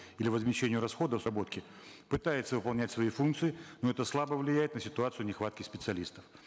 или возмещению расходов пытается выполнять свои функции но это слабо влияет на ситуацию нехватки специалистов